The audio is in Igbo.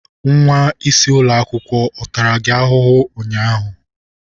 Nwa isi ụlọ akwụkwọ ọ tara gị ahụhụ ụnyaahụ?